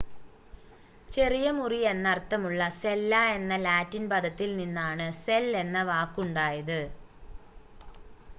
ചെറിയ മുറി എന്നർത്ഥമുള്ള സെല്ല എന്ന ലാറ്റിൻ പദത്തിൽ നിന്നാണ് സെൽ എന്ന വാക്കുണ്ടായത്